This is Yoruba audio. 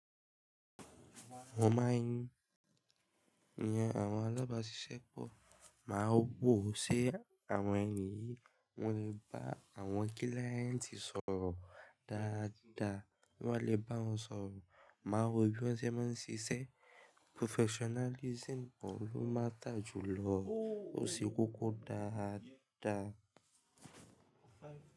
Àwọn alábáṣiṣẹ́ pọ̀, máa wò ó ṣe àwọn ènìyí wọn lè bá àwọn kíláyẹ̀ntì sọ̀rọ̀ dáadáa, bí wọ́n lè bá wọn sọ̀rọ̀, má wò bí wọ́n ṣe máa ń ṣiṣẹ́. Professionalism ko ló máta jù lọ, ó ṣí kókó dáadáa.